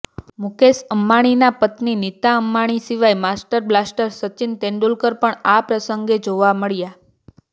મુકેશ અંબાણીના પત્ની નીતા અંબાણી સિવાય માસ્ટર બ્લાસ્ટર સચિન તેન્ડુલકર પણ આ પ્રસંગે જોવા મળ્યા